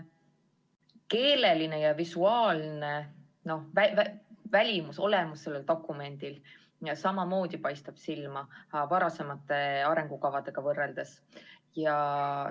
Ka keeleline ja visuaalne välimus on sel dokumendil olemas, nii et sellegi poolest paistab ta varasemate arengukavadega võrreldes silma.